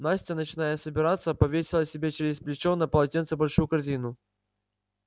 настя начиная собираться повесила себе через плечо на полотенце большую корзину